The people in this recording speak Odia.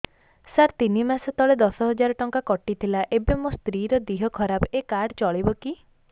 ସାର ତିନି ମାସ ତଳେ ଦଶ ହଜାର ଟଙ୍କା କଟି ଥିଲା ଏବେ ମୋ ସ୍ତ୍ରୀ ର ଦିହ ଖରାପ ଏ କାର୍ଡ ଚଳିବକି